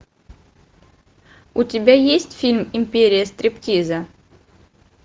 у тебя есть фильм империя стриптиза